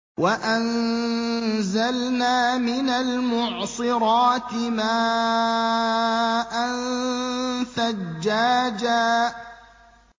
وَأَنزَلْنَا مِنَ الْمُعْصِرَاتِ مَاءً ثَجَّاجًا